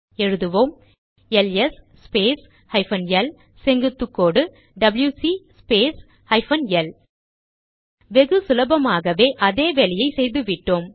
எழுதுவோம் L S space hyphen L செங்குத்துக்கோடு W C space hyphen L வெகு சுலபமாகவே அதே வேலையை செய்துவிட்டோம்